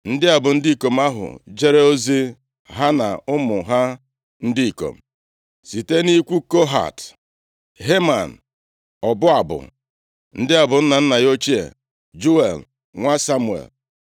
Ndị a bụ ndị ikom ahụ jere ozi, ha na ụmụ ha ndị ikom: Site nʼikwu Kohat: Heman, ọbụ abụ. Ndị a bụ nna nna ya ochie: Juel, nwa Samuel,